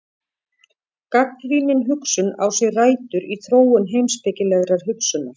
Gagnrýnin hugsun á sér rætur í þróun heimspekilegrar hugsunar.